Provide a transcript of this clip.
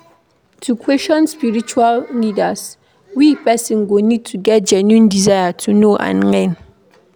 To question spiritual leaders we person go need to get genuine desire to know and learn